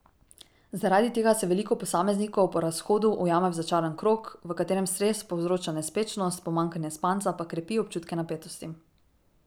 Zaradi tega se veliko posameznikov po razhodu ujame v začarani krog, v katerem stres povzroča nespečnost, pomanjkanje spanca pa krepi občutke napetosti.